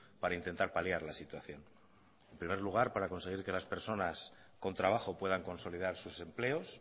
para intentar paliar la situación en primer lugar para conseguir que las personas con trabajo puedan consolidar sus empleos